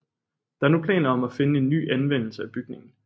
Der er nu planer om at finde en ny anvendelse af bygningen